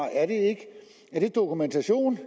er dokumentation